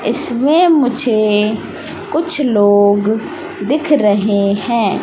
इसमें मुझे कुछ लोग दिख रहे हैं।